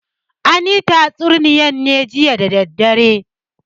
An yi tatsuniyar ne jiya da dare.